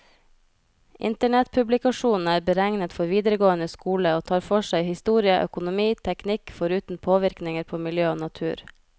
Internettpublikasjonen er beregnet for videregående skole, og tar for seg historie, økonomi, teknikk, foruten påvirkninger på miljø og natur.